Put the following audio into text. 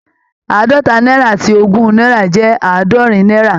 Àádọ́ta náírà àti ogún náírà jẹ́ àádọ́rin náírà